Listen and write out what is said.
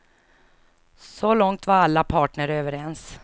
Så långt var alla parter överens.